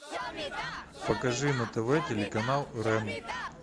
покажи на тв телеканал рен